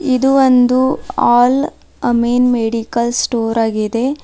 ಇದು ಒಂದು Al Ameen medical store ಆಗಿದೆ.